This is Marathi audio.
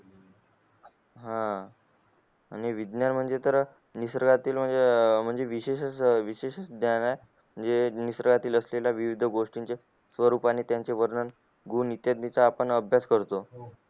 हम्म विज्ञान म्हणजे तर म्हणजे विशेष विशेष स्थान आहे म्हणजे निसर्गातील असलेल्या विविध गोष्टी च स्वरूपाने त्यांचे वर्णन आपण अभ्यास करतो